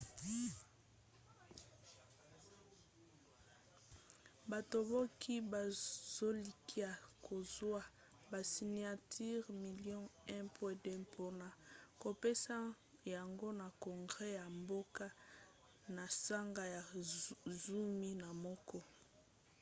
batomboki bazolikia kozwa basiniatire milio 1,2 mpona kopesa yango na congre ya mboka na sanza ya zomi na moko